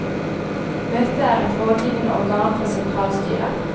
Møtet er et rådgivende organ for sentralstyret.